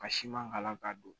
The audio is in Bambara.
Ka siman kala k'a don